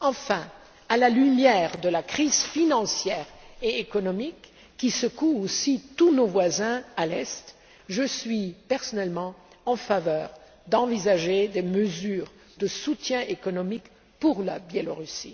Enfin, à la lumière de la crise financière et économique qui secoue aussi tous nos voisins à l'Est, je suis personnellement favorable à des mesures de soutien économique pour le Belarus.